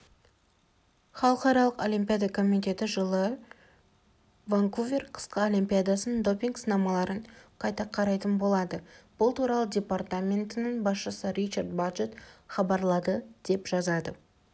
халықаралық олимпиада комитеті жылы ванкувер қысқы олимпиадасының допинг сынамаларын қайта қарайтын болады бұл туралы департаментінің басшысы ричард баджетт хабарлады деп жазады